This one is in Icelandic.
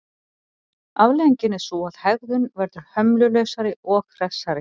Afleiðingin er sú að hegðun verður hömlulausari og hressari.